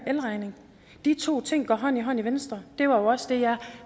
elregning de to ting går hånd i hånd i venstre det var jo også det jeg